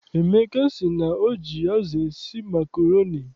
Emeka sị na o ji azụ esi makroni